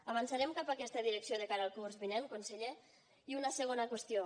avançarem cap a aquesta direcció de cara al curs vinent conseller i una segona qüestió